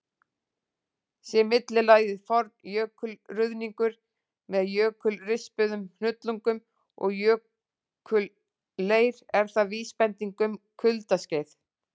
Sé millilagið forn jökulruðningur, með jökulrispuðum hnullungum og jökulleir, er það vísbending um kuldaskeið.